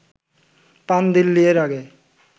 Prandelli এর আগে